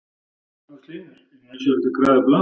Magnús Hlynur: Er nauðsynlegt að græða upp land?